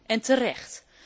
En terecht.